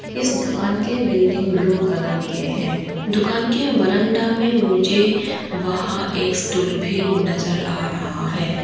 इस दुकान के बिल्डिंग ब्लू कलर के हैं दुकान के बरांडा में मुझे वहां एक स्टूल भी नजर आ रहा है।